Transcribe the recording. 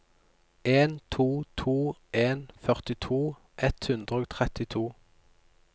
en to to en førtito ett hundre og trettito